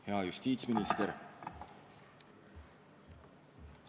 Hea justiitsminister!